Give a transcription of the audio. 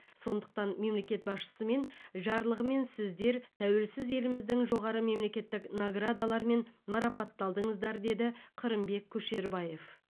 сондықтан мемлекет басшысымен жарлығымен сіздер тәуелсіз еліміздің жоғары мемлекеттік наградаларымен марапатталдыңыздар деді қырымбек көшербаев